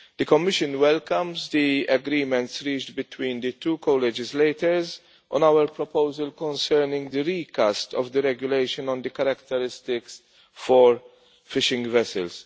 The Commission welcomes the agreement reached between the two co-legislators on our proposal concerning the recast of the regulation on characteristics for fishing vessels.